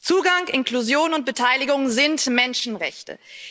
Zugang, Inklusion und Beteiligung sind Menschenrechte.